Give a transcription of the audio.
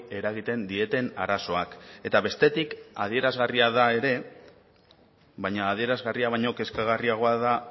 eragiten dieten arazoak eta bestetik adierazgarria da ere baina adierazgarria baino kezkagarriagoa da